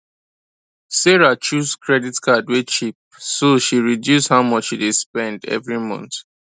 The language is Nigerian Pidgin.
sarah choose kredit card wey cheap so she reduce how much she dey spend every month